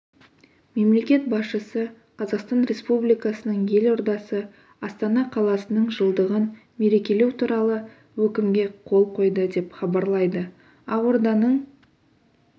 мемлекет басшысы қазақстан республикасының елордасы астана қаласының жылдығын мерекелеу туралы өкімге қол қойды деп хабарлайды ақорданың